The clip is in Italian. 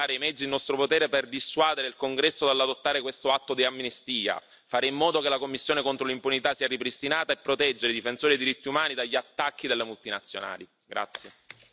È pertanto nostro compito usare i mezzi in nostro potere per dissuadere il Congresso dall'adottare questo atto di amnistia, fare in modo che la commissione contro l'impunità sia ripristinata e proteggere i difensori dei diritti umani dagli attacchi delle multinazionali.